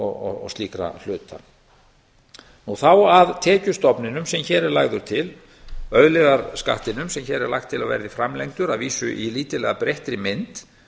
og slíkra hluta nú þá að tekjustofninum sem hér er lagður til auðlegðarskattinum sem hér er lagt til að verði framlengdur að vísu í lítillega breyttri mynd